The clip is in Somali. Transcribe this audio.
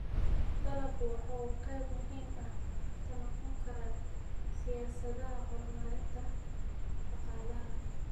Dalaggu waxa uu qayb muhiim ah ka noqon karaa siyaasadaha horumarinta dhaqaalaha.